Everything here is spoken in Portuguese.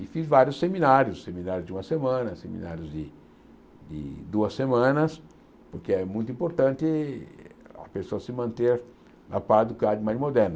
E fiz vários seminários, seminários de uma semana, seminários de de duas semanas, porque é muito importante a pessoa se manter na parte do quadro mais moderno.